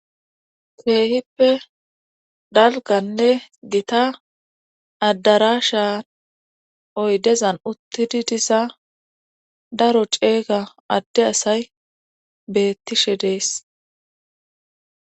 Teehippe dalganne dita addara shaa oydezan uttidi disa daro ceega adde asay bettishe dees.